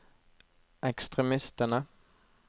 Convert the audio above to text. ekstremistene